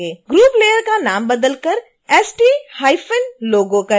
group layer का नाम बदल कर stlogo करें